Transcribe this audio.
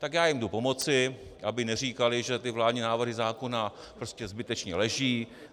Tak já jim jdu pomoci, aby neříkali, že ty vládní návrhy zákona prostě zbytečně leží.